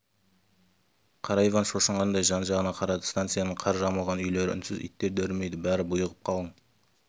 қара иван шошығандай жан-жағына қарады станицаның қар жамылған үйлері үнсіз иттер де үрмейді бәрі бұйығып қалың